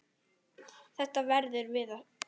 Þetta verðum við að stöðva.